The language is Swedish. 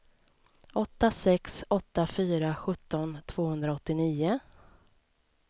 åtta sex åtta fyra sjutton tvåhundraåttionio